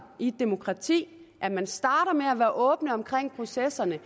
i et demokrati at man starter med at være åben omkring processerne